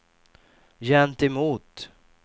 gentemot